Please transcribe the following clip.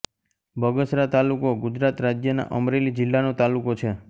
બગસરા તાલુકો ગુજરાત રાજ્યના અમરેલી જિલ્લાનો તાલુકો છે